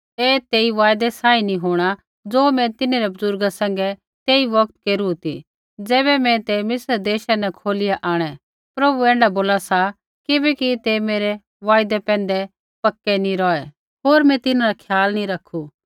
ऐ तेई वायदै सांही नी होंणा ज़ो मैं तिन्हरै बुज़ुर्गा सैंघै तेई बौगत केरू ती ज़ैबै मैं तै मिस्र देशा न खोलिया आंणै प्रभु ऐण्ढा बोला सा किबैकि तै मेरै वायदै पैंधै पक्के नी रौहै होर मैं तिन्हरा ख्याल नैंई रखू